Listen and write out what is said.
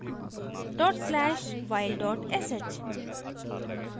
/while sh